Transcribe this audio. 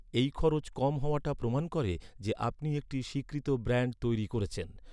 এই খরচ কম হওয়াটা প্রমাণ করে যে, আপনি একটি স্বীকৃত ব্র্যান্ড তৈরি করছেন।